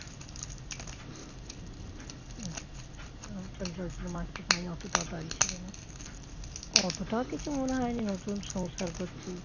আমি চঞ্চল ছিলাম মাকে পাইনি অতটাও টানছিল না অতটাও কিছু মনে হয়নি নতুন সংসার করছি